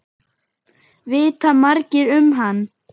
Vita margir um hann?